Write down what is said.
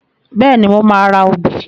Bẹ́ẹ̀ni, mo máa ra obì.